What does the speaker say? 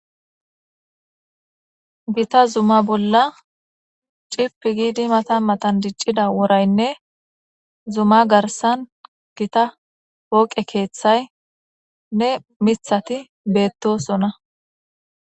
Gita zuma bolla cipi gidi matan matan dicida worayinee zuma garisan gita poqe kethaynee mithati betosona